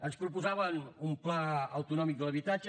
ens proposaven un pla autonòmic de l’habitatge